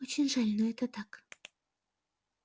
очень жаль но это так